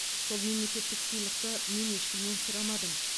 сол мемлекеттік сыйлықты мен ешкімнен сұрамадым